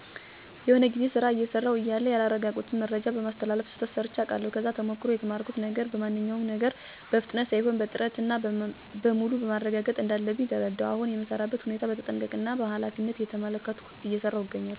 የሆነ ጊዜ ስራ አየሰራው እያለሁ ያላረጋገጥኩትን መረጃ በማስተላለፍ ስህተት ሰርቼ አቃለሁ። ከዛ ተሞክሮ የተማርኩት ነገር በማንኛውም ነገር በፍጥነት ሳይሆን በጥረት እና በሙሉ ማረጋገጥ እንዳለብኝ ተረዳሁ። አሁን የምሰራበትን ሁኔታ በተጠንቀቀ እና በኃላፊነት እየተመለከትኩ እየሰራው እገኛለሁ።